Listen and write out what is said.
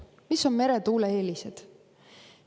Mis on meretuule eelised?